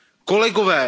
kolegové.